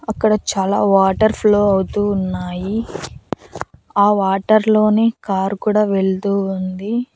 అక్కడ చాలా water flow అవుతూ ఉన్నాయి ఆ వాటర్ లోనే కారు కూడా వెళ్తూ ఉంది.